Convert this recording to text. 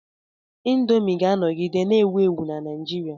Indomi ga-anọgide na-ewu ewu na Naijiria.